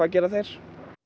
gera þeir